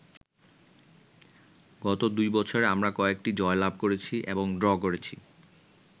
গত দুই বছরে আমরা কয়েকটি জয়লাভ করেছি এবং ড্র করেছি।